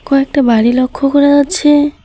কয়েকটা বাড়ি লক্ষ্য করা যাচ্ছে।